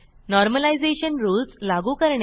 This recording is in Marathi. नॉर्मलायझेशन रूल्स लागू करणे